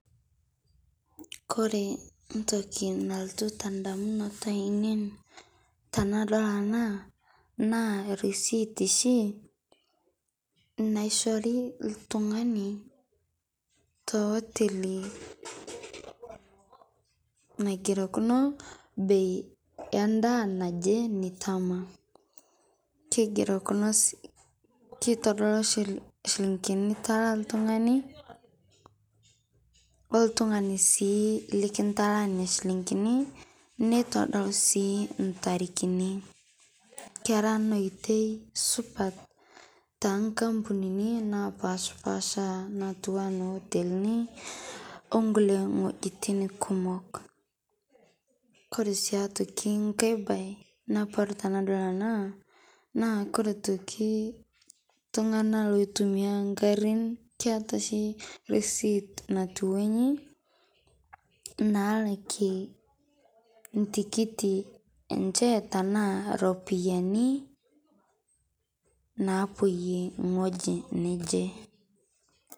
Kore entoki nalotu indamunot aiinei tenadol ena, naa erisit oshi naishori oltungani te hoteli, naigierokino bei endaa naje nitama, kitodolu inchilingini nikitaala oltungani, oltungani sii likintaala niana shilingini, nitodolu sii intarikini. Kera ena oitoi supat, toonkampunini napashpaasha natiu enaa nkotelini onkolie wojitin kumok. Koree sii aitoki nkae baye, napon tenadol ena, naa kore toki iltunganak oitumiyiai inkarrin keeta oshi receipt naikununo inji naalakie intiki enche enaa iropiyani naapoyie ewoji naje.